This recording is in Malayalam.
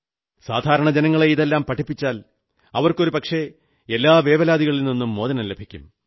സാധാരണ ജനങ്ങളെ ഇതെല്ലാം പഠിപ്പിച്ചാൽ അവർക്കൊരുപക്ഷേ എല്ലാ വേവലാതികളിൽ നിന്നും മോചനം ലഭിക്കും